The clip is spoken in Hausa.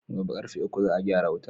Gobe ƙarfe uku za a gyara wuta